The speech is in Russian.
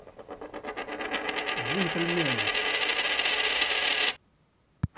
джентльмены